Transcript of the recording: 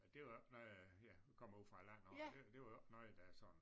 Og det var jo ikke noget jeg kommer ude fra æ land af det det var jo ikke noget der sådan